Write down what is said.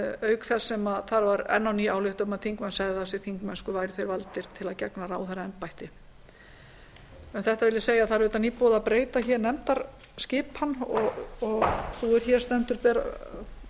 auk þess sem þar var enn á ný ályktað að þingmenn segðu af sér þingmennsku væru þeir valdir til að gegna ráðherraembætti um þetta vil ég segja að það er auðvitað nýbúið að breyta nefndaskipan og sú er hér stendur ber